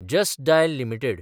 just Dial limited